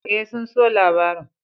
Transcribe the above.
E, sun so labarin.